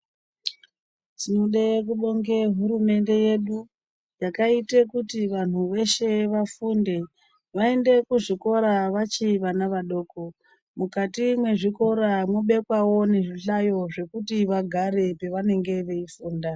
Tinoda kubonga hurumende yedu yakaita kuti vantu veshe vafunde vaende kuzvikora vachiri vana vadoko mukati mezvikora mobekwawo zvihlayo zvekuti vagare pavanenge veifunda.